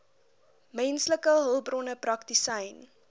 menslike hulpbronne praktisyn